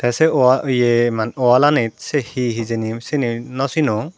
se wa ye man walanit se hi hijeni sini naw sinong.